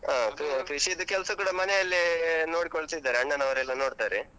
ಕೃಷಿದು ಕೆಲ್ಸ ಕೂಡ ಮನೆ ಅಲ್ಲೇ ನೋಡ್ಕೊಳ್ತಿದ್ದಾರೆ, ಅಣ್ಣನವರೆಲ್ಲ ನೋಡ್ತಾರೆ.